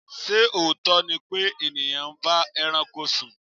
Ṣé òótọ́ ni pé ènìyàn ń bá ẹranko sùn?